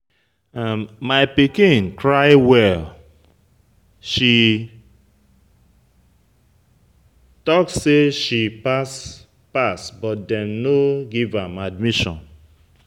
My pikin cry well, she talk say she pass but they no give am admission.